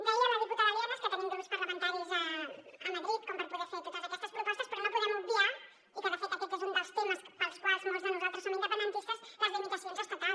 deia la diputada lienas que tenim grups parlamentaris a madrid per poder fer totes aquestes propostes però no podem obviar i de fet aquest és un dels temes pels quals molts de nosaltres som independentistes les limitacions estatals